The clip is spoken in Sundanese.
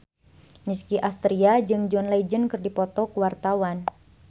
Nicky Astria jeung John Legend keur dipoto ku wartawan